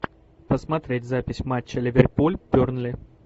посмотреть запись матча ливерпуль бернли